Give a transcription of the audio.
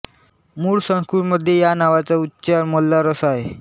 मूळ संस्कृतमध्ये या नावाचा उच्चार मल्लार असा आहे